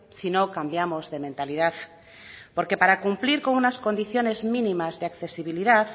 si no cambiamos de mentalidad porque para cumplir con unas condiciones mínimas de accesibilidad